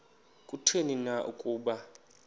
kutheni na ukuba